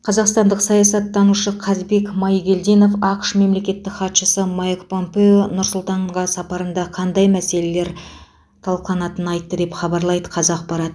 қазақстандық саясаттанушы қазбек майгелдинов ақш мемлекеттік хатшысы майк помпео нұр сұлтанға сапарында қандай мәселелер талқыланатынын айтты деп хабарлайды қазақпарат